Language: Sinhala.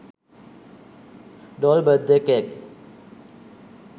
doll birthday cakes